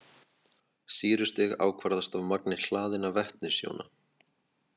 Sýrustig ákvarðast af magni hlaðinna vetnisjóna.